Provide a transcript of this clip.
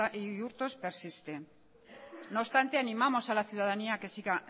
y hurtos persiste no obstante animamos a la ciudadanía a que siga